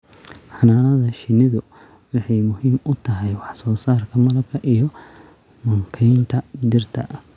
Xannaanada shinnidu waxa ay muhiim u tahay wax soo saarka malabka iyo mankaynta dhirta.